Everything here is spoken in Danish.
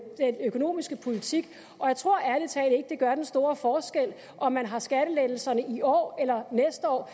økonomiske politik og jeg tror ærlig talt ikke det gør den store forskel om man har skattelettelserne i år eller næste år